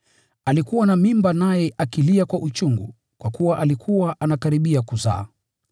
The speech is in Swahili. Alikuwa na mimba naye akilia kwa uchungu kwa kuwa alikuwa anakaribia kuzaa.